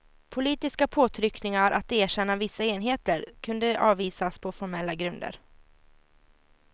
Politiska påtryckningar att erkänna vissa enheter kunde avvisas på formella grunder.